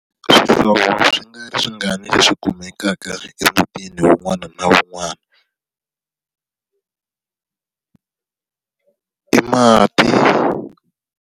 Swihlovo swi nga ri swi nga ni leswi kumekaka emutini wun'wana na wun'wana i mati.